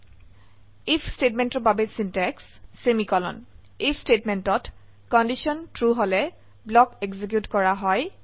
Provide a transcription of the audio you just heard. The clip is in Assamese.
আইএফ স্টেটমেন্টেৰ বাবে সিনট্যাক্স আইএফ স্টেটমেন্টত কন্ডিশন ট্ৰু হলে ব্লক এক্সিকিউট কৰা হয়